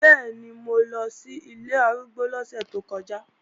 Bẹ́ẹ̀ni, mo lọ sí ilé arúgbó lọ́sẹ̀ tó kọjá